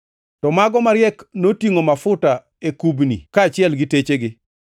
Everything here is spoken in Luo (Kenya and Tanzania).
To mago mariek to notingʼo mafuta e kubni kaachiel gi techegi.